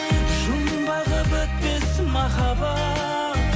жұмбағы бітпес махаббат